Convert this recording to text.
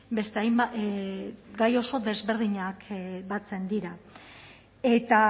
beste hainbat gai oso desberdinak batzen dira eta